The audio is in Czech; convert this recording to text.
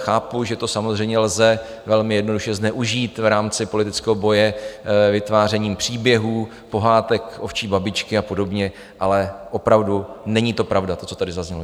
Chápu, že to samozřejmě lze velmi jednoduše zneužít v rámci politického boje vytvářením příběhů Pohádek ovčí babičky a podobně, ale opravdu není to pravda, to, co tady zaznělo.